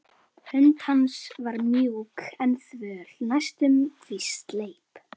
Hönd hans var mjúk en þvöl, næstum því sleip.